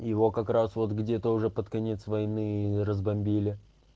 его как раз вот где-то уже под конец войны разбомбили